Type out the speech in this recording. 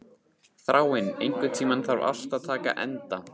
Þráinn, einhvern tímann þarf allt að taka enda.